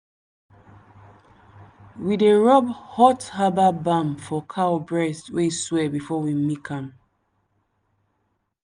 we dey rub hot herbal balm for cow breast wey swell before we milk am.